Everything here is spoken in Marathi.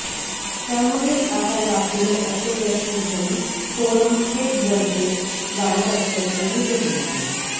त्यामुळेच आता यापुढे असे प्रश्न घेऊन फोरम थेट जनतेत जाणार असल्याचेही ते म्हणाले